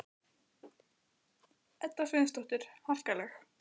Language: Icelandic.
Edda Sveinsdóttir: Harkaleg?